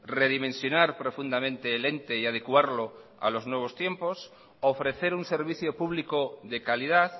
redimensionar profundamente el ente y adecuarlo a los nuevos tiempos ofrecer un servicio público de calidad